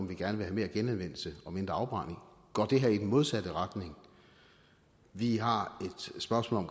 vi gerne vil have mere genanvendelse og mindre afbrænding går det her i den modsatte retning vi har et spørgsmål